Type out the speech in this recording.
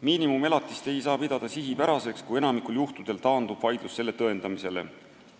Miinimumelatist ei saa pidada sihipäraseks, kui enamikul juhtudel taandub vaidlus selle tõendamisele,